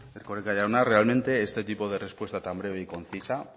erkoreka jauna realmente este tipo de respuesta tan breve y concisa